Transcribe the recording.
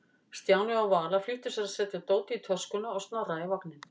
Stjáni og Vala flýttu sér að setja dótið í töskuna og Snorra í vagninn.